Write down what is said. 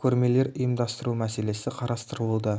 көрмелер ұйымдастыру мәселесі қарастырылуда